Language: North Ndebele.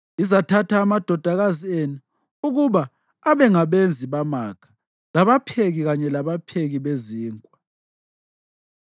Izathatha amadodakazi enu ukuba abe ngabenzi bamakha labapheki kanye labapheki bezinkwa.